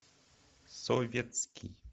советский